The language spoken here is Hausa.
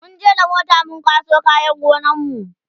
munje da mota mun kwaso kayan gonar mu